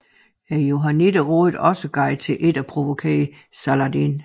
Johannitterne rådede også Guy til ikke at provokere Saladin